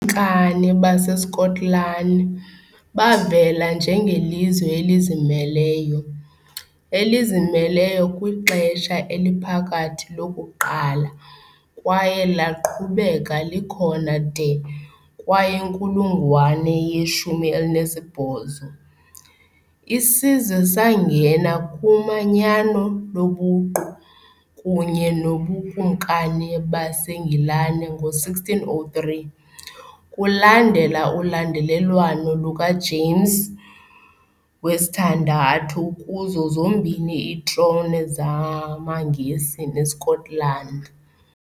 mkani baseSkotlani bavela njengelizwe elizimeleyo, elizimeleyo kwiXesha eliPhakathi lokuqala kwaye laqhubeka likhona de kwayinkulungwane ye-18. Isizwe sangena kumanyano lobuqu kunye noBukumkani baseNgilani ngo-1603, kulandela ulandelelwano lukaJames VI kuzo zombini iitrone zamaNgesi neScotland.